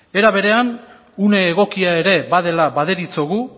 era berean une egokia ere badela baderitzogu